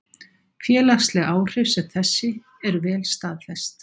Félagsleg áhrif sem þessi eru vel staðfest.